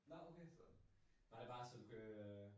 Nåh okay. Var det bare så du kan øh